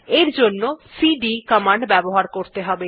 এর জন্য CD command ব্যবহার করতে হবে